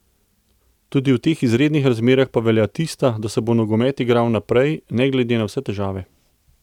Tudi v teh izrednih razmerah pa velja tista, da se bo nogomet igral naprej ne glede na vse težave.